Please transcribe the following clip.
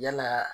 Yalaa